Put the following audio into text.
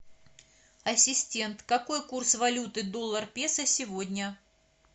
ассистент какой курс валюты доллар песо сегодня